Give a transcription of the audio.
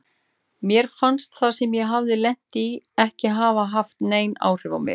Mér fannst það sem ég hafði lent í ekki hafa haft nein áhrif á mig.